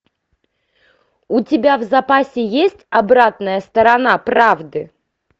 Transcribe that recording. у тебя в запасе есть обратная сторона правды